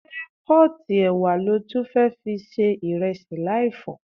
Ṣé pọ́ọ̀tì ẹ̀wà lo tún fẹ́ fi se ìrẹsì láì fọ̀ ọ́?